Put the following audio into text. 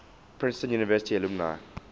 princeton university alumni